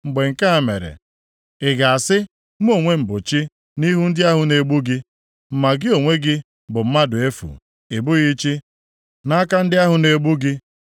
Mgbe nke a mere, ị ga-asị, “Mụ onwe m bụ chi,” nʼihu ndị ahụ na-egbu gị? Ma gị onwe gị bụ mmadụ efu, ị bụghị chi, nʼaka ndị ahụ na-egbu gị.